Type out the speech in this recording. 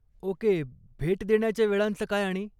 Okay, भेट देण्याच्या वेळांचं काय आणि?